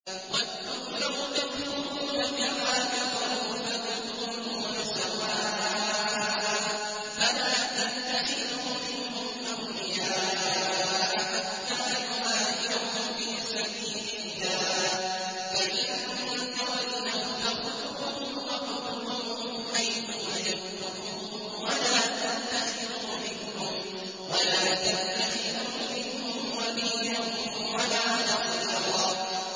وَدُّوا لَوْ تَكْفُرُونَ كَمَا كَفَرُوا فَتَكُونُونَ سَوَاءً ۖ فَلَا تَتَّخِذُوا مِنْهُمْ أَوْلِيَاءَ حَتَّىٰ يُهَاجِرُوا فِي سَبِيلِ اللَّهِ ۚ فَإِن تَوَلَّوْا فَخُذُوهُمْ وَاقْتُلُوهُمْ حَيْثُ وَجَدتُّمُوهُمْ ۖ وَلَا تَتَّخِذُوا مِنْهُمْ وَلِيًّا وَلَا نَصِيرًا